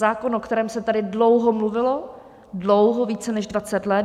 Zákon, o kterém se tady dlouho mluvilo, dlouho, více než 20 let.